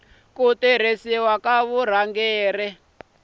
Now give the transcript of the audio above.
ku tirhisiwa ka vurhangeri bya